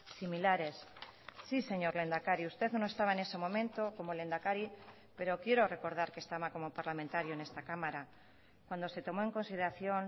similares sí señor lehendakari usted no estaba en ese momento como lehendakari pero quiero recordar que estaba como parlamentario en esta cámara cuando se tomó en consideración